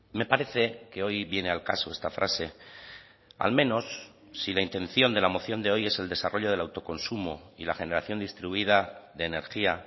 me parece que hoy viene al caso esta frase al menos si la intención de la moción de hoy es el desarrollo del autoconsumo y la generación distribuida de energía